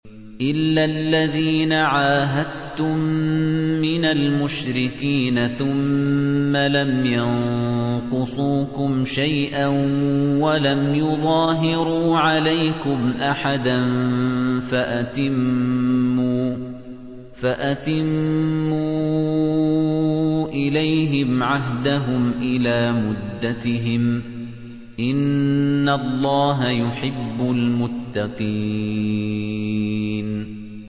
إِلَّا الَّذِينَ عَاهَدتُّم مِّنَ الْمُشْرِكِينَ ثُمَّ لَمْ يَنقُصُوكُمْ شَيْئًا وَلَمْ يُظَاهِرُوا عَلَيْكُمْ أَحَدًا فَأَتِمُّوا إِلَيْهِمْ عَهْدَهُمْ إِلَىٰ مُدَّتِهِمْ ۚ إِنَّ اللَّهَ يُحِبُّ الْمُتَّقِينَ